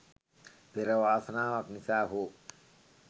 පෙර වාසනාවක් නිසා හෝ